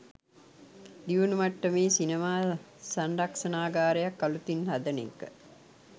දියුණු මට්ටමේ සිනමා සංරක්ෂණාගාරයක් අලුතින් හදන එක